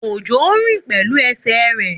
Òjó rìn pẹ̀lú ẹsẹ̀ rẹ̀